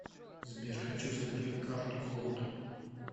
сбер хочу закрыть карту голд